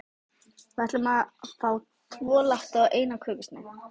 Við ætlum að fá tvo latte og eina kökusneið.